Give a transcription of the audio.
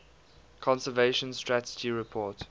conservation strategy report